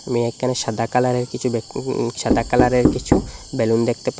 আমি একানে সাদা কালারের কিছু বেলু উঁ উঁ সাদা কালারের কিছু বেলুন দেকতে পাই।